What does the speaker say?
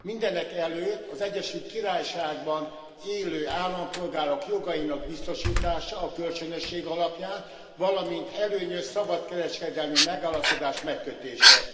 Mindenekelőtt az Egyesült Királyságban élő állampolgárok jogainak biztosítása a kölcsönösség alapján, valamint előnyös szabadkereskedelmi megállapodás megkötése.